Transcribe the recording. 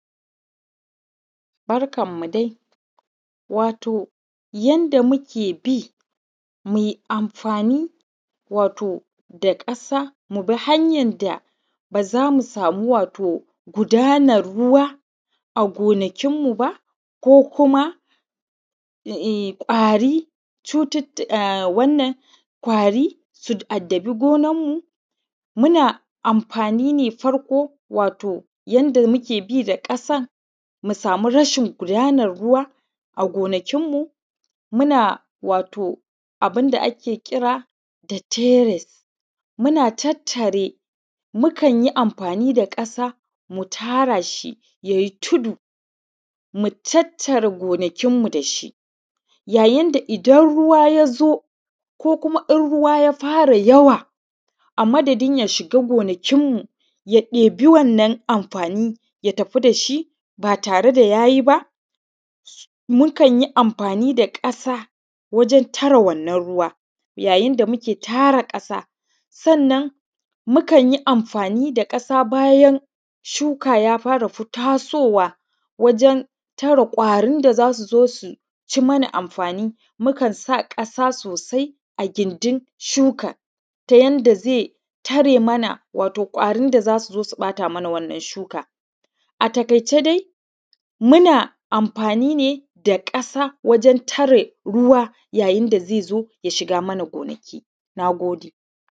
Barkan mu dai wato yanda mukbi muyi amfani wato da ƙasa wato mubi hanyar da bazamu samu wato gudanar ruwa a gonakin mu ba ko kuma kwari, cututtuka wannan kwari su addabi gonar mu muna amfani ne farko wato yadda muke bi da ƙasa mu samu rashin gudanar ruwa gonakin mu. Muna wato abunda ake kira tateres muna tattare, mukanyi amfani da ƙasa mu tara shi yayi tudu mu tattare gonakin mu da shi ya yinda idan ruwa yazo ko kuma in ruwa ya fara yawa amadadin ya shiga gona kinmu ya ɗebi wannan amfani ya tafi dashi ba tare da yayi ba. Mu kanyi amfani da mukanyi amfani da ƙasa wajen tare wannan ruwa, ya yinda tara ƙasa sannan mukanyi amfani da ƙasa bayan shuka ya fara tasowa wajen tare kwarin da zasu zo suci mana amfani, mukan sa ƙasa sosai a gindin shukan ta yanda zai tare mana wato kwarin da zasu zo su ɓata mana wannan shuka. A taƙai ce dai muna amfani ne da ƙasa waren tare ruwa ya yinda yake shiga mana gona. Nagode